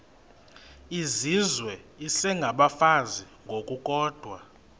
izizwe isengabafazi ngokukodwa